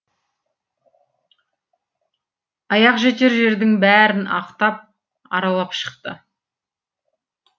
аяқ жетер жердің бәрін ақтап аралап шықты